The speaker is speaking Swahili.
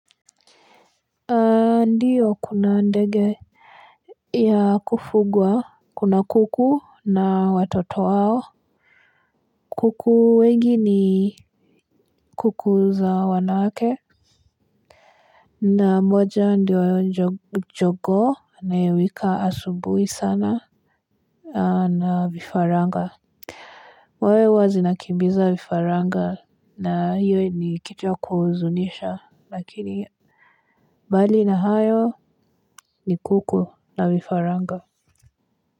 Ndiyo kuna ndege ya kufugwa. Kuna kuku na watoto wao. Kuku wengi ni kuku za wanawake na moja ndiyo jogoo inayowika asubuhi sana. Na vifaranga mwewe huwa zinakimbiza vifaranga na hiyo ni kitu ya kuhuzunisha lakini bali na hayo ni kuku na vifaranga.